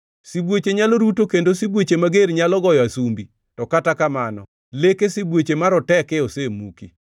Sibuoche nyalo ruto kendo sibuoche mager nyalo goyo asumbi, to kata kamano leke sibuoche maroteke osemuki.